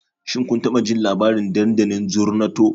Shin kun taɓa jin labarin dandalin Zornato?